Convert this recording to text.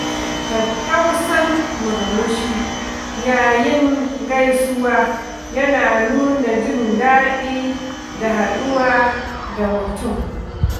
Tattausan murmushi yayin gaisuwa yana nuna jin daɗi da haɗuwa da mutum.